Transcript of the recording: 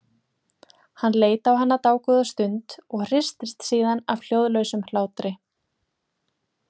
Hann leit á hana dágóða stund og hristist síðan af hljóðlausum hlátri.